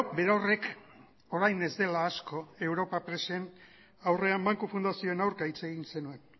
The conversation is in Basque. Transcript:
berorrek orain ez dela asko europa presen aurrean banku fundazioen aurka hitz egin zenuen